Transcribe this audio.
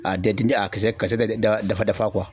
A kisɛ bɛɛ dafa dafa